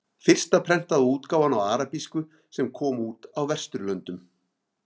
Fyrsta prentaða útgáfan á arabísku sem kom út á Vesturlöndum.